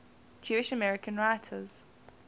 jewish american writers